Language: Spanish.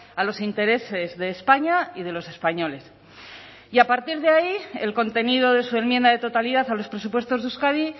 a los intereses de españa y de los españoles y a partir de ahí el contenido de su enmienda de totalidad a los presupuestos de euskadi